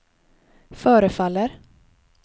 förefaller